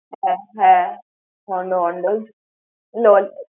হ্যাঁ, হ্যাঁ, Hondo Hondo's LOL ।